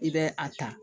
I bɛ a ta